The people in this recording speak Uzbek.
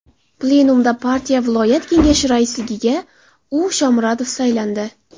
Plenumda partiya viloyat kengashi raisligiga U. Shoumarov saylandi.